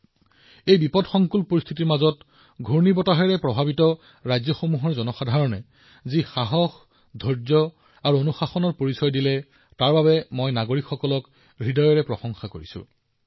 দুৰ্যোগৰ এই কঠিন আৰু অসাধাৰণ পৰিস্থিতিত ঘূৰ্ণীবতাহৰ দ্বাৰা প্ৰভাৱিত হোৱা সকলো ৰাজ্যৰ মানুহে যিদৰে সাহস দেখুৱাইছে এই সংকটৰ সময়ত অতি ধৈৰ্য্য অনুশাসনৰ সৈতে যুঁজিছে মই সন্মানসহকাৰে আন্তৰিকতাৰে সকলো নাগৰিকক প্ৰশংসা কৰিব বিচাৰো